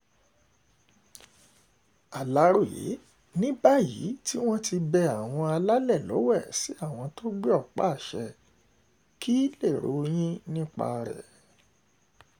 aláròye ní báyìí um tí wọ́n ti bẹ àwọn alálẹ̀ lọ́wẹ̀ sí àwọn tó gbé ọ̀pá-àṣẹ kí lèrò yín nípa rẹ̀ um